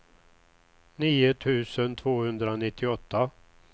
nio tusen tvåhundranittioåtta